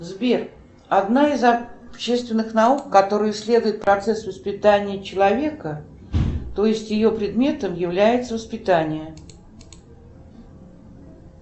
сбер одна из общественных наук которая исследует процесс воспитания человека то есть ее предметом является воспитание